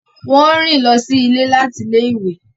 Wọn o rin lọsí ilé láti ilé-ìwé